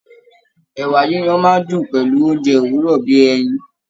Ẹ̀wà yiyan máa ń dùn pẹ̀lú oúnjẹ òwúrọ̀ bí i ẹyin